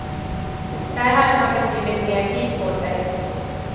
Där hade man betydligt mer tid på sig.